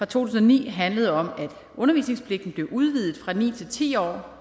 tusind og ni handlede om at undervisningspligten blev udvidet fra ni til ti år